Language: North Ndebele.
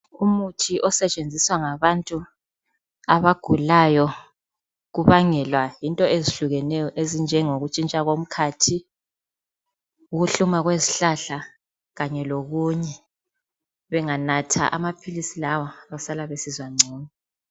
Umuthi osetshenziswa ngabantu abagulayo kubangelwa yinto ezehlukeneyo, ukutshintsha komkhathi, ukuhluma kwezihlahla kanye lokunye, benganatha amaphilisi lawa basala besizwa ngcono.